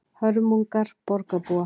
Hörmungar borgarbúa